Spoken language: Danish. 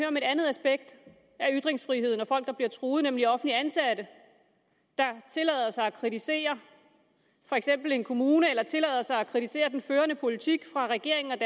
om et andet aspekt af ytringsfriheden og folk der bliver truet nemlig offentligt ansatte der tillader sig at kritisere for eksempel en kommune eller tillader sig at kritisere den førte politik fra regeringen